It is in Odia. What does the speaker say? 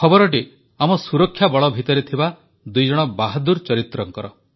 ଖବରଟି ଆମର ସୁରକ୍ଷାବଳ ଭିତରେ ଥିବା ଦୁଇଜଣ ବାହାଦୂର ଚରିତ୍ରଙ୍କର